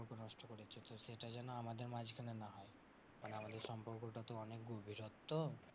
সেটা যেন আমাদের মাঝখানে না হয়, মানে আমাদের সম্পর্কটা তো অনেক গভীরত্ব।